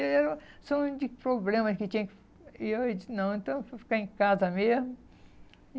E eu só um de problemas que tinha que... E eu disse, não, então eu fui ficar em casa mesmo.